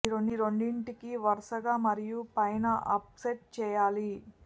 ఈ రెండింటికి వరుసగా మరియు పైన అప్ సెట్ చేయాలి